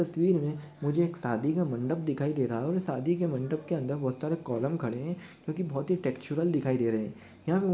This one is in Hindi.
तस्वीर में मुझे एक शादी का मंडप दिखाई दे रहा है शादी के मंडप के अंदर बहुत सारे कॉलम खड़े है जो बहुत टेक्चुरल दिखाई दे रहे है यहाँ--